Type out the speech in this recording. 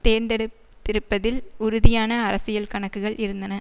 தேர்த்தெடுத்திருப்பதில் உறுதியான அரசியல் கணக்குகள் இருந்தன